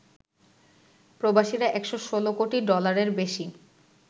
প্রবাসীরা ১১৬ কোটি ডলারের বেশি